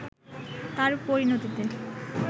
তার পরিণতিতে